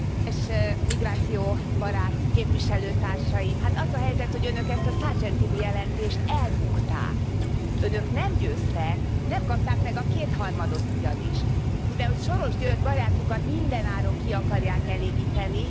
Tisztelt Elnök úr! Kedves migrációbarát képviselőtársaim! Hát az a helyzet, hogy Önök ezt a Sargentini jelentést elbukták. Önök nem győztek. Nem kapták meg a kétharmadot ugyanis, mivel Soros György barátjukat mindenáron ki akarják elégíteni.